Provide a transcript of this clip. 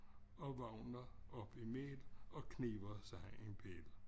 Og vågner op imæl og kniber sig en pille